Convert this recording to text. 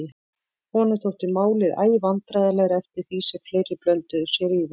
Honum þótti málið æ vandræðalegra eftir því sem fleiri blönduðu sér í það.